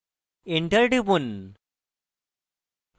enter টিপুন